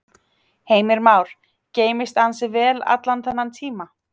Heimir Már: Geymst ansi vel allan þennan tíma?